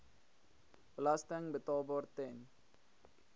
belasting betaalbaar ten